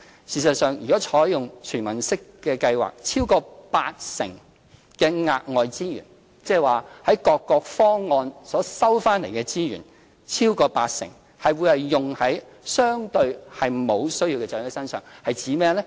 事實上，如採用"全民式"計劃，超過八成的額外資源，即從各個方案取得的資源中，超過八成會用於相對沒有需要的長者身上——指的是甚麼呢？